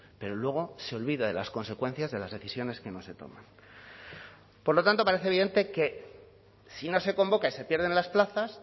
pero luego se olvida de las consecuencias de las decisiones que no se toman por lo tanto parece evidente que si no se convoca y se pierden las plazas